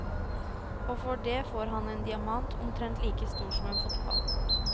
Og for det får han en diamant, omtrent like stor som en fotball.